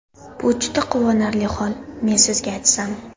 Bu juda quvonarli hol, men Sizga aytsam!